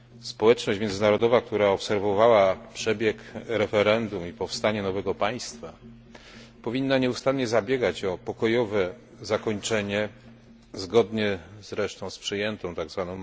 Społeczność międzynarodowa, która obserwowała przebieg referendum i powstanie nowego państwa, powinna nieustannie zabiegać o pokojowe zakończenie aktualnego sporu, zgodnie zresztą z przyjętą tzw.